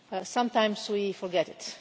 Sometimes we forget it.